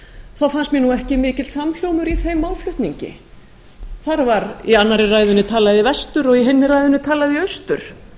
þá fannst mér ekki mikill samhljómur í þeim málflutningi þar var í annarri ræðunni talað í vestur og hinni talað í austur